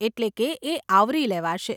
એટલે કે એ આવરી લેવાશે.